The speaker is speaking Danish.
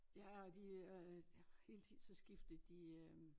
Ja og de øh hele tiden så skfitede de øh